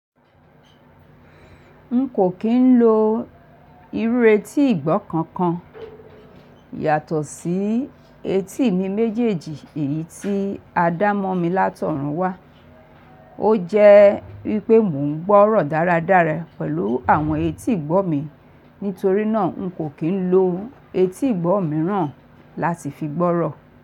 N kò kín ń lo irú etí ìgbọ́ kankan yàtọ̀ sí etí mi méjèèjì èyí tí a dá mọ́ mi látọ̀rúnwá. Ó jẹ́ wípé mò ń gbọ́rọ̀ dáradára pẹ̀lú àwọn etí ìgbọ́ mi nítorínà n kò kín ń lo etí ìgbọ́ mìíràn láti fi gbọ́rọ.